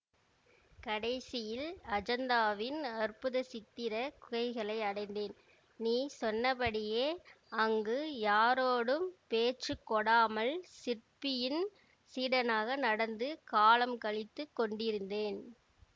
கடைசியில் அஜந்தாவின் அற்புத சித்திர குகைகளை அடைந்தேன் நீ சொன்னபடியே அங்கு யாரோடும் பேச்சு கொடாமல் சிற்பியின் சீடனாக நடந்து காலம் கழித்துக் கொண்டிருந்தேன்